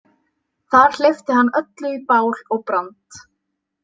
Þar hleypti hann öllu í bál og brand